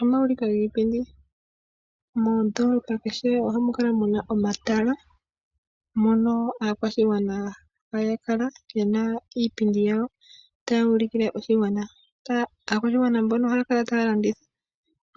Omawuliko giipundi , mondolopa keshe ohamu kala muna omawuliko giipundi , mondolopa keshe ohamu kala muna omatala mono oshigwana hashi kala shina iipindi yasho ta ulikile oshigwana. Akwashigwana mbono oha kala ta landitha